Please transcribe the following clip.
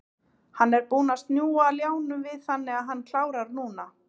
Hann er búinn að snúa ljánum við þannig að hann klárar núna.